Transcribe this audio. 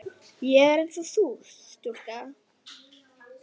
Ég er einsog þessi stúlka.